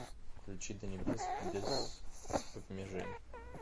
включи до небес без обмежень